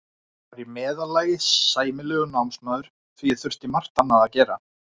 Ég var í meðallagi sæmilegur námsmaður því ég þurfti margt annað að gera.